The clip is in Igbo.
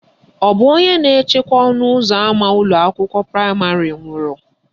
Ọ bụ onye na-echekwa ọnụụzọ ama ụlọakwụkwọ praịmarị nwụrụ?